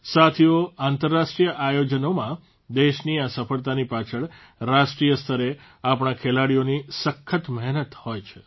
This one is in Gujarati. સાથીઓ આંતરરાષ્ટ્રીય આયોજનોમાં દેશની આ સફળતાની પાછળ રાષ્ટ્રીય સ્તરે આપણા ખેલાડીઓની સખત મહેનત હોય છે